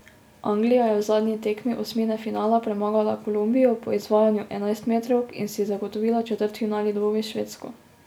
Anglija je v zadnji tekmi osmine finala premagala Kolumbijo po izvajanju enajstmetrovk in si zagotovila četrtfinalni dvoboj s Švedsko.